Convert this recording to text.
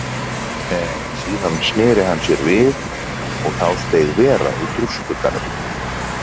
En síðan sneri hann sér við og þá steig vera út úr skugganum.